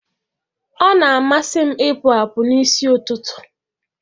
Ọ na-amasị m ịpụ apụ n'isi ụtụtụ.